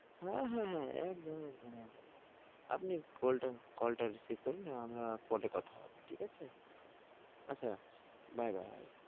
হ্যাঁ হ্যাঁ, একদম একদম একদম আপনি কল টা কল টা receive করুন, আমরা পরে কথা হবে ঠিক আছে, আচ্ছা রাখছি bye bye.